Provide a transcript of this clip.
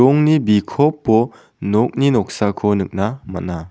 ongni bikopo nokni noksako nikna man·a.